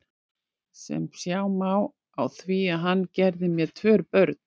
Sem sjá má á því að hann gerði mér tvö börn.